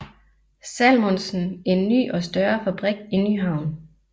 Salmonsen en ny og større fabrik i Nyhavn